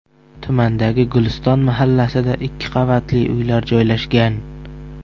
Tumandagi Guliston mahallasida ikki qavatli uylar joylashgan.